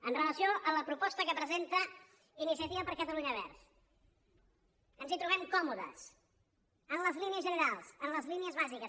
amb relació a la proposta que presenta iniciativa per catalunya verds ens hi trobem còmodes en les línies generals en les línies bàsiques